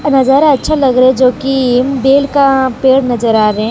नजारा अच्छा लग रहा है जो कि बेल का पेड़ नजर आ रहे है।